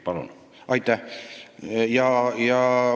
Palun!